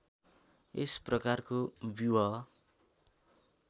यस प्रकारको व्यूह